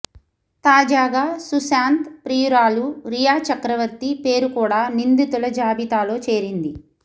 తాజాగా సుశాంత్ ప్రియురాలు రియా చక్రవర్తి పేరు కూడా నిందితుల జాబితాలో చేరింది